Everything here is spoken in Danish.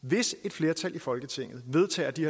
hvis et flertal i folketinget vedtager de